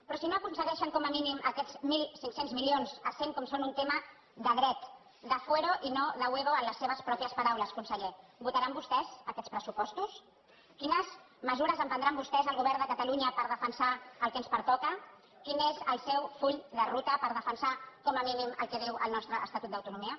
però si no aconsegueixen com a mínim aquests mil cinc cents milions essent com són un tema de dret de fuero i no de huevo amb les seves mateixes paraules senyor conseller votaran vostès aquests pressupostos quines mesures emprendran vostès el govern de catalunya per defensar el que ens pertoca quin és el seu full de ruta per defensar com a mínim el que diu el nostre estatut d’autonomia